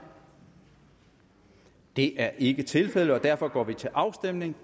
det er ikke tilfældet og derfor går vi til afstemning